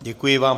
Děkuji vám.